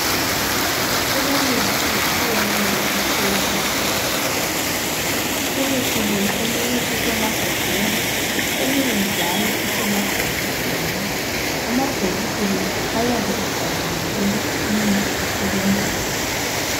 Kulemithi etshiyeneyo etholakala esibhedlela. Imithi le eminye isemagabheni, eminye njalo isemabhokisini. Amabhokisi la ayabe ebhaliwe ukuthi imithi izebenza njani.